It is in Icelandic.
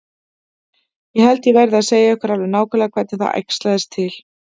Ég held ég verði að segja ykkur alveg nákvæmlega hvernig það æxlaðist til.